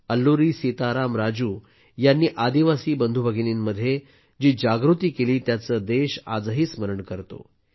अल्लुरी सीताराम राजू यांनी आदिवासी बंधूभगिनींमध्ये जी जागृती केली त्याचे देश आजही स्मरण करतो